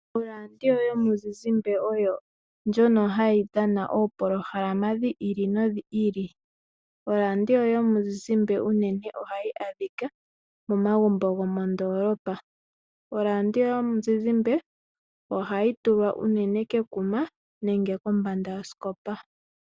Oradio yomuzizimbe oyo ndjono hayi dhana oopolohalama dhi ili nodhi ili. Oradio yomuzizimbe unene ohayi adhika momagumbo gomondoolopa. Oradio yomuzizimbe ohayi tulwa unene kekuma nenge kombanda yoskopa.